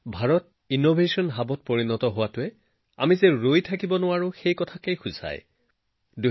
ভাৰতৰ innovation hub হোৱাটোৱেই এই কথাটোৰ প্ৰতীক যে আমি ৰুদ্ধ হব নিবিচাৰো